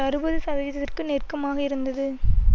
அறுபது சதவீதத்திற்கு நெருக்கமாக இருந்தது